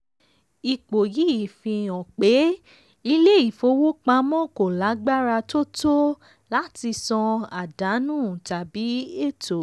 ipo yìí fi hàn pé ilé ìfowópamọ́ kò lagbara tó tó láti san àdánù tàbí ètò.